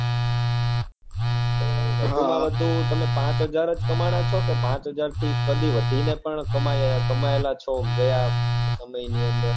હા તો વધુ માં વધુ તમે પાંચ હજાર જ કમાણો છો કે પાંચ હજાર થી કદી વધુ ને પણ કમાયેલા છો ગયા સમય ની અંદર